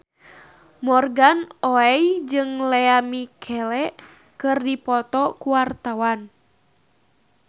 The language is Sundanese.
Morgan Oey jeung Lea Michele keur dipoto ku wartawan